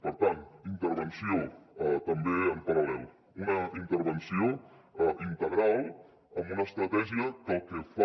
per tant intervenció també en paral·lel una intervenció integral amb una estratègia que el que fa